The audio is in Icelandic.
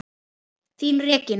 Þín, Regína.